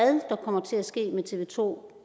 kommer til at ske med tv to